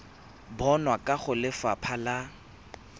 bonwa kwa go lefapha la